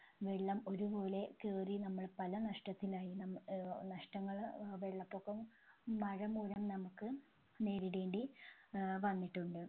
വെള്ളം ഒരുപോലെ കയറി നമ്മൾ പല നഷ്ടത്തിലായി നമ്മ ഏർ നഷ്ടങ്ങൾ ഏർ വെള്ളപൊക്കം മഴമൂലം നമ്മുക്ക് നേരിടേണ്ടി ഏർ വന്നിട്ടുണ്ട്